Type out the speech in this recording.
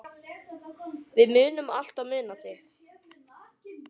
Við munum alltaf muna þig.